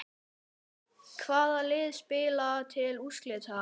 Hvaða lið spila til úrslita?